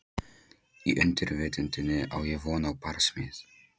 Í undirvitundinni á ég von á barsmíð.